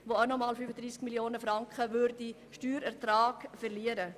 Diese würden nämlich zusätzlich 35 Mio. Franken an Steuerertrag verlieren.